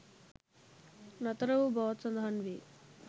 නතර වූ බවත් සඳහන් වේ.